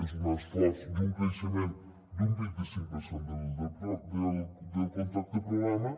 és un esforç i un creixement d’un vint·i·cinc per cent del contracte programa